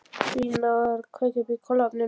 Lína að kveikja upp í kolaofninum.